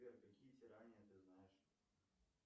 сбер какие тирании ты знаешь